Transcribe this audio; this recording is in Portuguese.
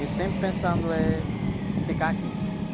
E, eu, sempre pensando, eh, ficar aqui.